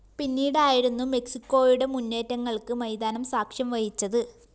പിന്നീടായിരുന്നു മെക്‌സിക്കോയുടെ മുന്നേറ്റങ്ങള്‍ക്ക് മൈതാനം സാക്ഷ്യം വഹിച്ചത്